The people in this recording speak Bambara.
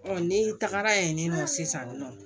ne tagara yen nɔ sisan nɔ